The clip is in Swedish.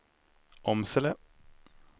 Åmsele